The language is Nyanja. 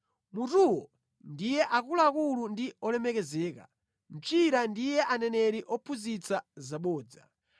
mutuwo ndiye akuluakulu ndi olemekezeka, mchira ndiye aneneri ophunzitsa zabodza.